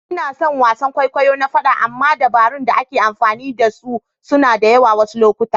Ina son wasan kwaikwayo na faɗa amma dabarun da ake amfani da su suna da yawa a wasu lokuta.